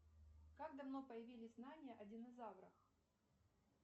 как давно появились знания о динозаврах